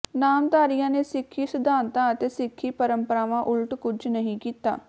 ਨਾਮਧਾਰੀਆਂ ਨੇ ਸਿਖੀ ਸਿਧਾਂਤਾਂ ਅਤੇ ਸਿੱਖੀ ਪਰੰਪਰਾਵਾਂ ਉਲਟ ਕੁਛ ਨਹੀਂ ਕੀਤਾ